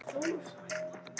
Elsku Agga okkar.